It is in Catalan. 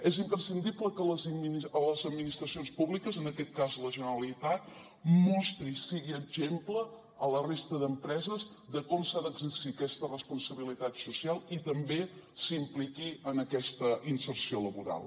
és imprescindible que les administracions públiques en aquest cas la generalitat mostri i sigui exemple a la resta d’empreses de com s’ha d’exercir aquesta responsabilitat social i també s’impliqui en aquesta inserció laboral